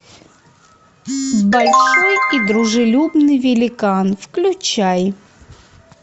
большой и дружелюбный великан включай